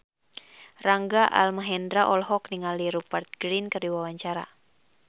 Rangga Almahendra olohok ningali Rupert Grin keur diwawancara